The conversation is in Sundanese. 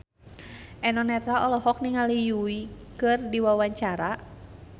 Eno Netral olohok ningali Yui keur diwawancara